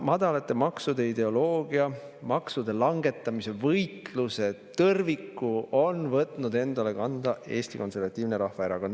Madalate maksude ideoloogia, maksude langetamise võitluse tõrviku on võtnud enda kanda Eesti Konservatiivne Rahvaerakond.